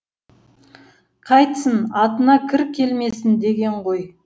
қайтсін атына кір келмесін дегені ғой